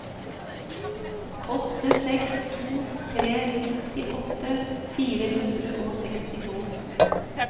åtte seks to tre nittiåtte fire hundre og sekstito